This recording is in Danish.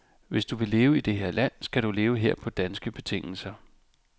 Hvis du vil leve i det her land, skal du leve her på danske betingelser.